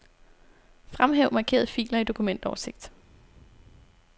Fremhæv markerede filer i dokumentoversigt.